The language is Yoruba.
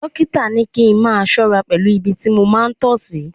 Dọ́kítà ní kí n máa ṣọ́ra pẹ̀lú ibi tí mo máa ń tọ sí.